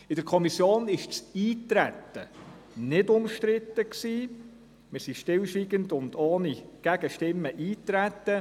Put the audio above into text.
In der Kommission war das Eintreten nicht bestritten, wir traten stillschweigend und ohne Gegenstimme auf das Gesetz ein.